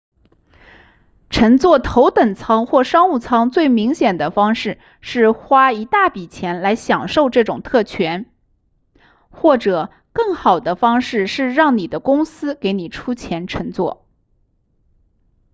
乘坐头等舱或商务舱最明显的方式是花一大笔钱来享受这种特权或者更好的方式是让你的公司给你出钱乘坐